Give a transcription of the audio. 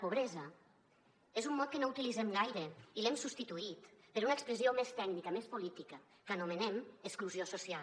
pobresa és un mot que no utilitzem gaire i l’hem substituït per una expressió més tècnica més política que anomenem exclusió social